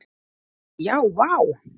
Já vá!